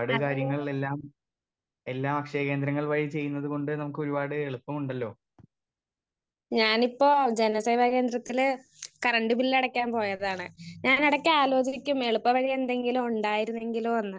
Speaker 1 അതെ ഞാൻ ഇപ്പൊ ജനസേവ കേന്ദ്രത്തില് കറന്റ്‌ ബില്ല് അടക്കാൻ പോയതാണ്. ഞാൻ എടക്ക് ആലോചിക്കും. എളുപ്പ വഴി എന്തെങ്കിലും ഉണ്ടായിരുന്നെങ്കിലോ എന്ന്..